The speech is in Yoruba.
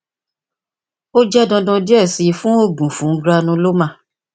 o le jẹ dandan diẹ sii fun oogun fun granuloma